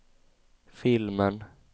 filmen